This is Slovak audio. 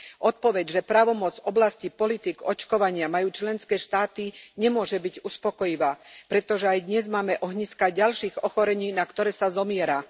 Odpoveď, že právomoc v oblastí politík očkovania majú členské štáty nemôže byť uspokojivá, pretože aj dnes máme ohniská ďalších ochorení, na ktoré sa zomiera.